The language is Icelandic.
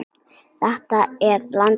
Þetta er landið mitt.